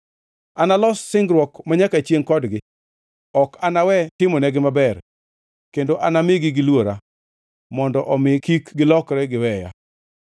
Analos singruok manyaka chiengʼ kodgi: Ok anawe timonegi maber, kendo anamigi giluora, mondo omi kik gilokre giweya.